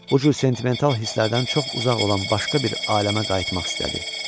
Bu cür sentimental hisslərdən çox uzaq olan başqa bir aləmə qayıtmaq istədi.